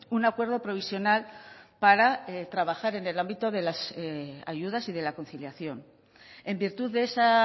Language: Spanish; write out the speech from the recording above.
un acuerdo provisional para trabajar en el ámbito de las ayudas y de la conciliación en virtud de esa